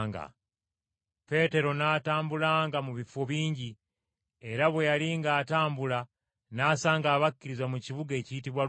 Peetero n’atambulanga mu bifo bingi; era bwe yali ng’atambula n’asanga abakkiriza mu kibuga ekiyitibwa Luda.